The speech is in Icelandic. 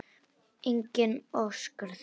Enginn óskar þess.